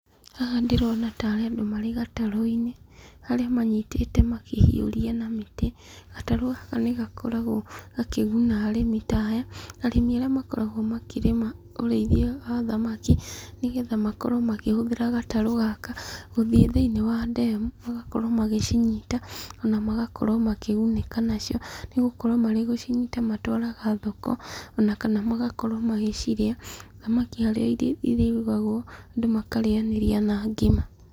Haha ndĩrona tarĩ andũ marĩ gatarũ-inĩ, harĩa manyitĩte makĩhiũria na mĩtĩ. Gatarũ gaka ni gakoragwo gakĩguna arĩmi ta aya, arĩmi arĩa makoragwo makĩrĩma ũrĩithia wa thamaki, nĩgetha makorwo makĩhũthĩra gatarũ gaka gũthiĩ thĩinĩ wa ndemu, magakorwo magĩcinyita, ona magakorwo makĩgunĩka nacio, nĩgũkorwo marĩ gũcinyita matwaraga thoko, na kana magakorwo magĩcirĩa, thamaki harĩ arĩa irio irugagwo andũ makarĩanĩria na ngima.